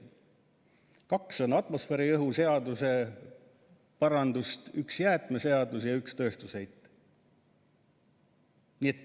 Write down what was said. Kaks parandust on atmosfääriõhu seaduse kohta, üks jäätmeseaduse ja üks tööstusheite seaduse kohta.